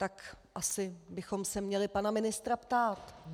Tak asi bychom se měli pana ministra ptát.